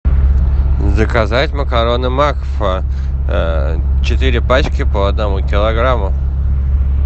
заказать макароны макфа четыре пачки по одному килограмму